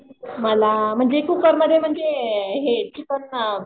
मला म्हणजे कुकरमध्ये म्हणजे हे चिकन